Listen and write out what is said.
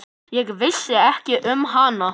Ég vissi ekki um hana.